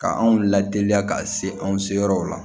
Ka anw lateliya ka se anw seyɔrɔw ma